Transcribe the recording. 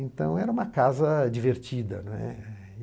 Então, era uma casa divertida, né.